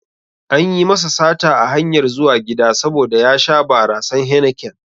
Anyi masa sata a hanyar zuwa gida saboda ya sha barasan Heineken